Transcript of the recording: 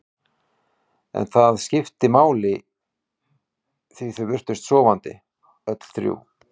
En það skipti engu máli því þau virtust sofandi, öll þrjú.